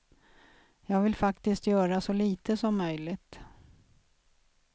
Jag vill faktiskt göra så lite som möjligt.